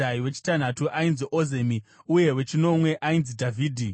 wechitanhatu ainzi Ozemi uye wechinomwe ainzi Dhavhidhi.